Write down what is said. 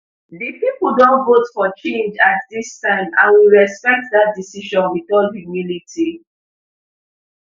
di pipo don vote for change at dis time and we respect dat decision wit all humility